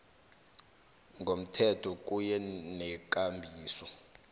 ngomthetho kunye nekambiso